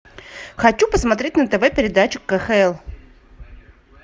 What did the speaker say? хочу посмотреть на тв передачу кхл